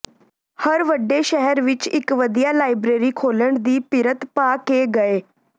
ਹਰ ਵੱਡੇ ਸ਼ਹਿਰ ਵਿੱਚ ਇਕ ਵਧੀਆ ਲਾਇਬਰੇਰੀ ਖੋਲਣ ਦੀ ਪਿਰਤ ਪਾ ਕੇ ਗਏ